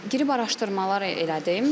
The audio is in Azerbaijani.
Girib araşdırmalar elədim.